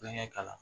Kulonkɛ kalan